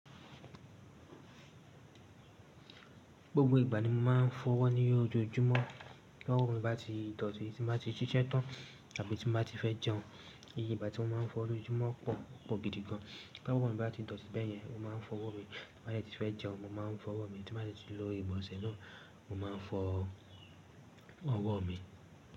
Gbogbo ìgbà ni mo máa ń fọwọ́ ní ojoojúmọ́. Bowo mi bá ti dọ̀tí, tí n bá ti ṣiṣẹ́ tán àbí tí mo bá ti fẹ́ jẹun. Iye ìgbà tí mo máa ń fọ lójúmọ́ pọ̀, o pọ gìdí gan. Ti ọwọ mi bá ti dọ̀tí bẹ́ẹ̀ yẹn, mo máa ń fọwọ́ mi. Tí n bá ti fẹ́ jẹun, mo máa ń fọwọ́ mi. Tí n bá ti lò igbọnsẹ̀ náà, mo máa ń fọ ọwọ́ mi.